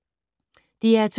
DR2